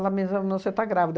Ela me examinou, você está grávida.